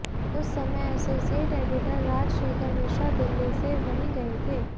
उस समय associate editor Rajshekhar Mishra Delhi से वहीं गए थे